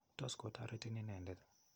Tos kotoretin inendet.